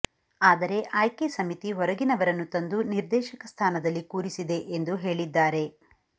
ಆದರೆ ಆಯ್ಕೆ ಸಮಿತಿ ಹೊರಗಿನವರನ್ನು ತಂದು ನಿರ್ದೇಶಕ ಸ್ಥಾನದಲ್ಲಿ ಕೂರಿಸಿದೆ ಎಂದು ಹೇಳಿದ್ದಾರೆ